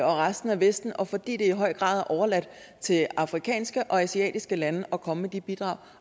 resten af vesten og fordi det i høj grad er overladt til afrikanske og asiatiske lande at komme med de bidrag